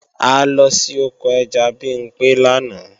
A lọ sí oko ẹja Bimpé lánàá